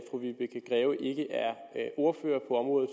ordfører